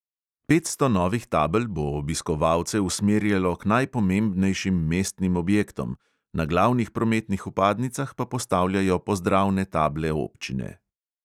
Petsto novih tabel bo obiskovalce usmerjalo k najpomembnejšim mestnim objektom, na glavnih prometnih vpadnicah pa postavljajo pozdravne table občine.